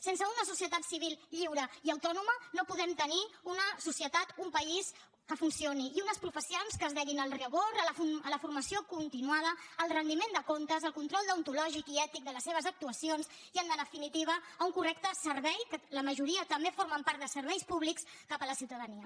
sense una societat civil lliure i autònoma no podem tenir una societat un país que funcioni i unes professions que es deguin al rigor a la formació continuada al rendiment de comptes al control deontològic i ètic de les seves actuacions i en definitiva a un correcte servei que la majoria també formen part de serveis públics cap a la ciutadania